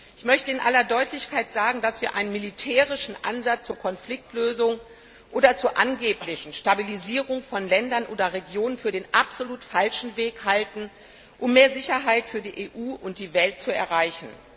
Ich möchte in aller Deutlichkeit sagen, dass wir einen militärischen Ansatz zur Konfliktlösung oder zur angeblichen Stabilisierung von Ländern oder Regionen für den absolut falschen Weg halten, um mehr Sicherheit für die EU und die Welt zu erreichen.